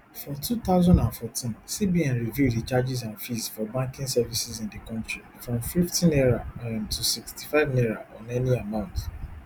for two thousand and fourteen cbn review di charges and fees for banking services in di kontri from fifty naira um to sixty-five naira on any amount